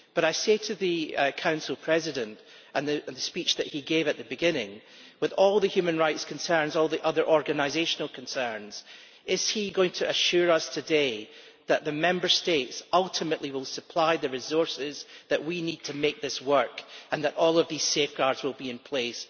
But I say to the Council President, in respect of the speech that he gave earlier, with all the human rights concerns and all the other organisational concerns is he going to assure us today that the Member States ultimately will supply the resources that we need to make this work and that all of these safeguards will be in place?